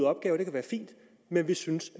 opgaver det kan være fint men vi synes at